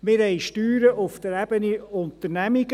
Wir haben Steuern auf der Ebene Unternehmungen.